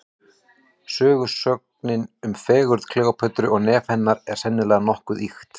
Sögusögnin um fegurð Kleópötru og nef hennar, er sennilega nokkuð ýkt.